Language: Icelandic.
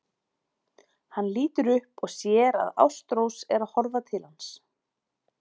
Hann lítur upp og sér að Ástrós er að horfa til hans.